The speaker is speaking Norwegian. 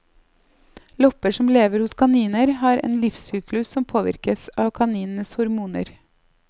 Lopper som lever hos kaniner har en livssyklus som påvirkes av kaninenes hormoner.